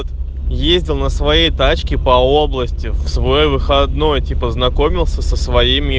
ездил на своей тачке по области в свой выходной типа познакомился со своим